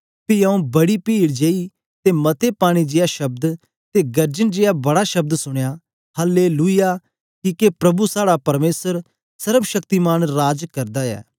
पी आऊँ बड़ी पीड जेया ते मते पानी जेया शब्द ते गर्जन जेया बड़ा शब्द सुनया हल्लेलुयाह किके प्रभु साहड़ा परमेसर सर्वशक्तिमान राज करदा ऐ